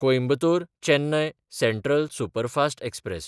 कोयंबतोर–चेन्नय central superfast express